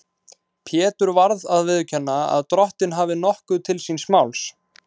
Pétur varð að viðurkenna að Drottinn hafði nokkuð til síns máls.